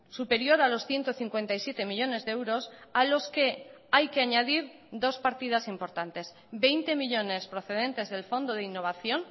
superior a los ciento cincuenta y siete millónes de euros a los que hay que añadir dos partidas importantes veinte millónes procedentes del fondo de innovación